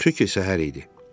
Yaxşı ki, səhər idi.